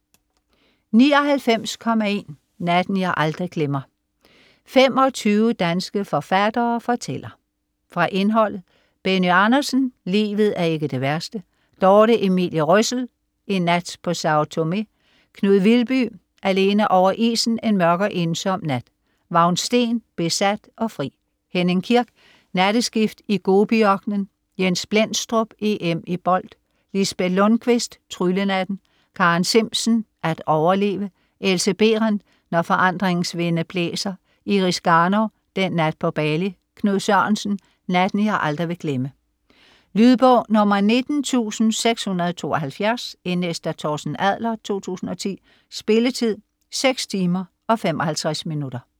99.1 Natten jeg aldrig glemmer: 25 danske forfattere fortæller Fra indholdet: Benny Andersen: Livet er ikke det værste. Dorthe Emilie Røssell: En nat på Sâo Tomé. Knud Vilby: Alene over isen en mørk og ensom nat. Vagn Steen: Besat og fri. Henning Kirk: Natteskift i Gobiørkenen. Jens Blendstrup: EM i bold. Lisbet Lundquist: Tryllenatten. Karen Zimsen: At overleve. Else Berenth: Når forandringens vinde blæser. Iris Garnov: Den nat på Bali. Knud Sørensen: Natten jeg aldrig vil glemme. Lydbog 19672 Indlæst af Torsten Adler, 2010. Spilletid: 6 timer, 55 minutter.